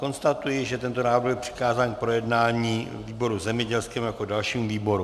Konstatuji, že tento návrh byl přikázán k projednání výboru zemědělskému jako dalšímu výboru.